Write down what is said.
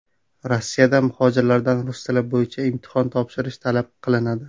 Rossiyada muhojirlardan rus tili bo‘yicha imtihon topshirish talab qilinadi .